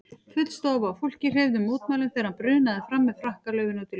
Full stofa af fólki hreyfði mótmælum þegar hann brunaði fram með frakkalöfin út í loftið.